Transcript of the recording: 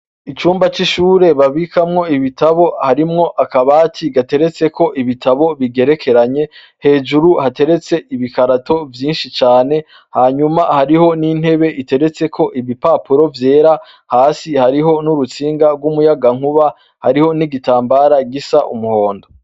Icuma c'ishure babikamwo ibitabo harimwo akabati gateretseko ibitabo bigerekeranye. Hejuru hateretse ibikarato vyinshi cane. Hanyuma hariho n'intebe iteretseko ibipapuro vyera. Hasi hariho n'urutsinga rw'umuyagankuba. Hariho n'igitambara gisa numuhondo.